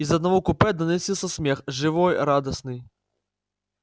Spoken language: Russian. из одного купе доносился смех живой радостный